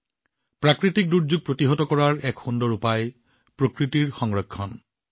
প্ৰাকৃতিক দুৰ্যোগৰ বিৰুদ্ধে যুঁজ দিয়াৰ এটা উত্তম উপায় হল প্ৰকৃতি সংৰক্ষণ কৰা